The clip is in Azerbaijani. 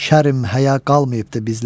Şərim həya qalmayıbdır bizlərdə.